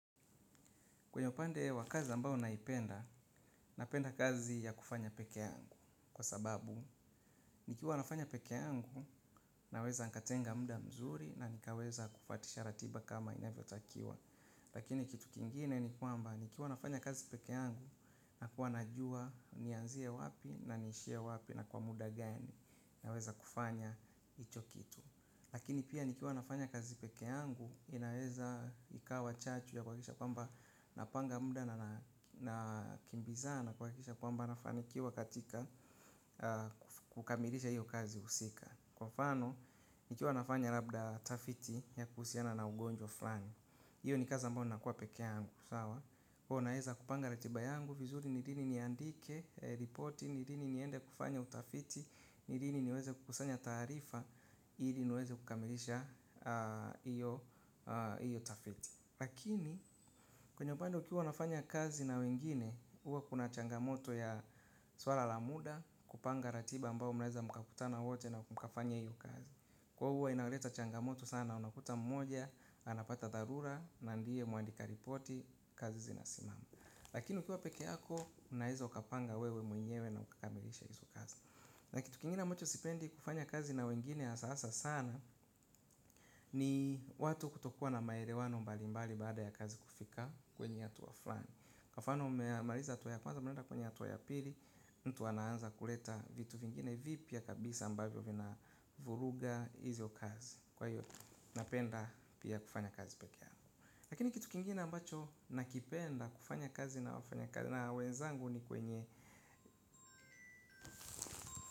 Kwenye upande wa kazi ambao naipenda, napenda kazi ya kufanya pekeangu. Kwa sababu, nikiwa nafanya pekeangu, naweza nkatenga mda mzuri na nikaweza kufuatisha ratiba kama inavyo takiwa. Lakini kitu kingine ni kuamba, nikiwa nafanya kazi pekeangu, nakuwa najua nianzie wapi na nishie wapi na kwa muda gani. Naweza kufanya icho kitu. Lakini pia nikiwa nafanya kazi pekeangu inaeza ikawa chachu ya kuwakisha kwamba napanga mda na kimbizana kuwakisha kwamba nafanya kukamilisha hiyo kazi usika. Kwa mfano nikiwa nafanya labda tafiti ya kuusiana na ugonjwa flani. Iyo ni kaza ambao nakuwa pekeangu sawa. Kuwa naeza kupanga ratiba yangu vizuri nilini niandike ripoti nilini niende kufanya utafiti nilini niweze kukusanya taarifa. Ili niweze kukamilisha iyo tafiti. Lakini, kwenye upande ukiwa wanafanya kazi na wengine. Uwa kuna changamoto ya swala la muda. Kupanga ratiba ambao mnaeza mkakutana wote na mkakafanya iyo kazi. Kwa uwa inauleta changamoto sana. Unakuta mmoja, anapata dharura. Na ndie muandika ripoti, kazi zinasimama. Lakini ukiwa peke yako, unaeza ukapanga wewe mwenyewe na ukakamilisha izo kazi. Na kitu kingine ambacho sipendi kufanya kazi na wengine asa asa sana. Ni watu kutokuwa na maerewano mbali mbali baada ya kazi kufika kwenye atuwa fulani. Kwa mfano mmemaliza atuwa ya kwanza mwenda kwenye atuwa ya pili mtu anaanza kuleta vitu vingine vipya kabisa ambavyo vina vuruga izio kazi. Kwa hiyo napenda pia kufanya kazi pekeangu. Lakini kitu kingine ambacho nakipenda kufanya kazi na wafanya kazi na wenzangu ni kwenye.